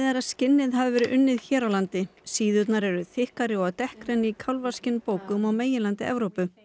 að skinnin hafi verið unnin hér á landi síðurnar eru þykkari og dekkri en í á meginlandi Evrópu